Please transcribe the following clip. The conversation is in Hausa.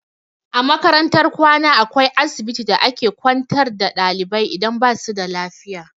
A makarantar kwana akwai asibiti da a ke kwantar da ɗalibai idan basu da lafiya.